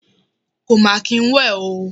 Kò máa kín ń wẹ̀ o.